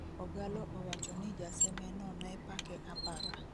ogallo owacho ni jaseme no ne pake apaka